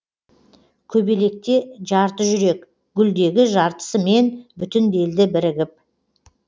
көбелекте жарты жүрек гүлдегі жартысымен бүтінделді бірігіп